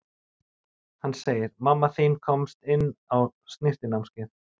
Hann segir: Mamma þín komst inn á snyrtinámskeið.